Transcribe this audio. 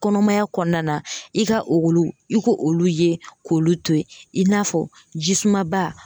Kɔnɔmaya kɔnɔna na i ka olu i k'olu ye k'olu to yen i n'a fɔ jisumaba